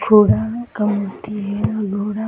घोरा है कमती है घोरा --